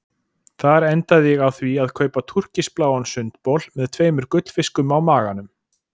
Þar endaði ég á því að kaupa túrkisbláan sundbol með tveimur gullfiskum á maganum.